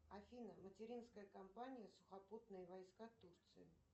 афина материнская компания сухопутные войска турции